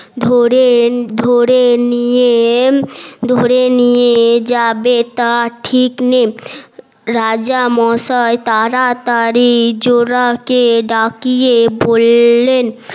ধরে ধরে নিয়ে ধরে নিয়ে যাবে তার ঠিক নেই রাজা মসাই তাড়াতাড়ি জোলা কে ডাকিয়ে বললেন